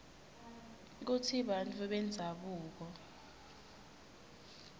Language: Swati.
kutsi bantfu bendzabuko